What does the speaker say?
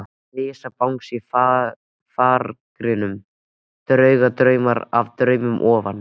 Risabangsi í farangrinum, dagdraumar á drauma ofan.